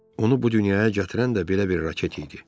Onu bu dünyaya gətirən də belə bir raket idi.